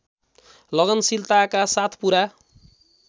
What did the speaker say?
लगनशीलताका साथ पूरा